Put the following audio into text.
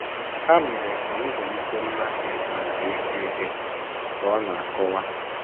“ Ha mere ka m zụlite mmasị maka ịgụ ihe, ” ka ọ na - akọwa.